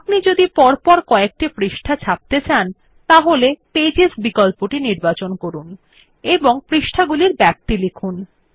আপনি যদি পরপর কযেকটি পৃষ্ঠা ছাপতে চান তাহলে পেজেস বিকল্পটি নির্বাচন করুন এবং পৃষ্ঠাগুলির ব্যাপ্তি লিখুন